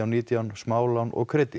nítján smálán og